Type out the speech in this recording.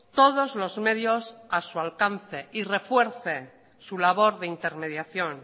todos los medios a su alcance y refuerce su labor de intermediación